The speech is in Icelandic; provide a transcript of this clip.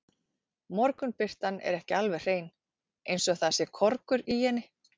Morgunbirtan er ekki alveg hrein, eins og það sé korgur í henni.